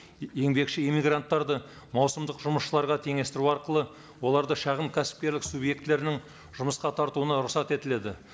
еңбекші эмигранттарды маусымдық жұмысшыларға теңестіру арқылы оларды шағын кәсіпкерлік субъектілерінің жұмысқа тартуына рұқсат етіледі